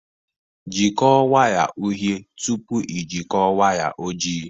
Jikọọ waya uhie tupu ị jikọọ waya ojii